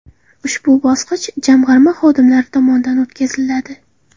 Ushbu bosqich Jamg‘arma xodimlari tomonidan o‘tkaziladi.